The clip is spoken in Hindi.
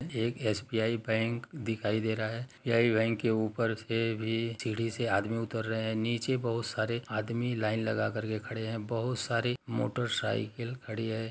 ये एक एसबीआई बैंक दिखाई दे रहा है यही बैंक के ऊपर से भी सीढ़ी से आदमी उतर रहे है नीचे बहुत सारे आदमी लाइन लगाकर के खड़े है बहुत सारे मोटर साइकिल खड़ी है।